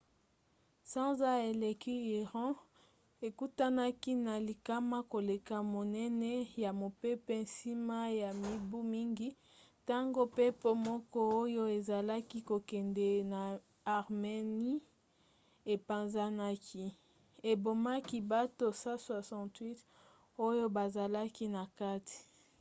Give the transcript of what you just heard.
sanza eleki iran ekutanaki na likama koleka monene ya mopepe nsima ya mibu mingi ntango mpepo moko oyo ezalaki kokende na armenie epanzanaki ebomaki bato 168 oyo bazalaki na kati